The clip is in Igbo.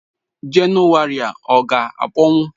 January a ọ ga-akpọnwụ?